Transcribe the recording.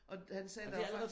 Og han sagde der også var